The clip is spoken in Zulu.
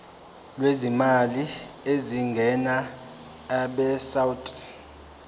lwezimali ezingenayo abesouth